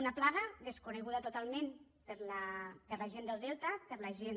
una plaga desconeguda totalment per la gent del delta per la gent